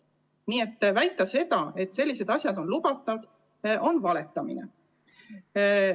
Nii et väita seda, et sellised asjad on lubatud, on valetamine.